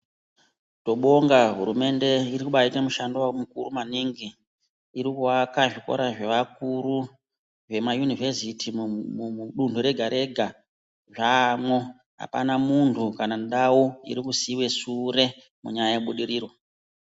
Tobonga hurumende irikubaite mushundo mukuru maningi irikuvaka zvikora zvevakuru vemayunivheziti mudundu rega rega zvamwo apana mundu kana ndawu irikusiiwe sure munyaya yebudiriro.